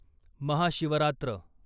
Mahashivratri